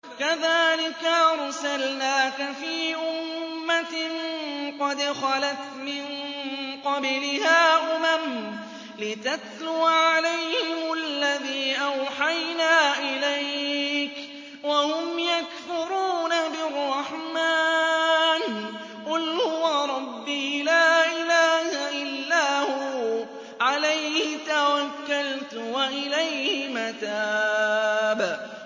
كَذَٰلِكَ أَرْسَلْنَاكَ فِي أُمَّةٍ قَدْ خَلَتْ مِن قَبْلِهَا أُمَمٌ لِّتَتْلُوَ عَلَيْهِمُ الَّذِي أَوْحَيْنَا إِلَيْكَ وَهُمْ يَكْفُرُونَ بِالرَّحْمَٰنِ ۚ قُلْ هُوَ رَبِّي لَا إِلَٰهَ إِلَّا هُوَ عَلَيْهِ تَوَكَّلْتُ وَإِلَيْهِ مَتَابِ